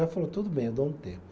Ela falou, tudo bem, eu dou um tempo.